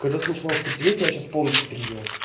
когда ты начинаешь трезветь я сейчас полностью отрезвел